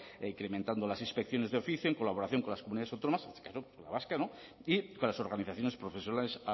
incrementando las inspecciones de oficio en colaboración con las comunidades autónomas con la vasca no y con las organizaciones profesionales